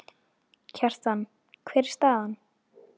Kjartan, hver er staðan?